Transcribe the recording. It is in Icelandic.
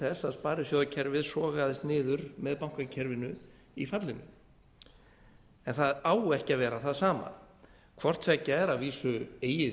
þess að sparisjóðakerfið sogaðist niður með bankakerfinu í fallinu á á ekki að vera það sama hvort tveggja er að vísu eigið